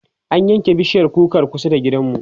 an yanke bishiyar kukar kusa da gidanmu